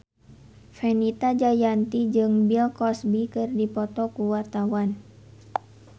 Fenita Jayanti jeung Bill Cosby keur dipoto ku wartawan